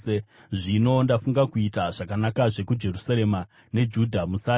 “saka zvino ndafunga kuita zvakanakazve kuJerusarema neJudha. Musatya.